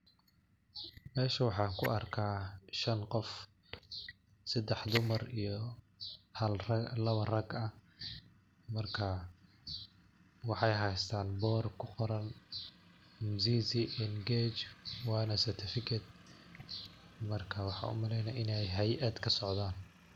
Mesha waxan kuarkah shan qof. Sedax dumar iyo lawo rag ah. marka waxay haystan bor kuqoran mzizi engage wa na certificate. marka waxaa umaleynaah inaay hay'ad kasocdhan.